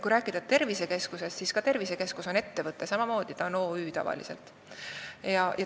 Kui rääkida tervisekeskusest, siis see on samamoodi ettevõte, tavaliselt OÜ.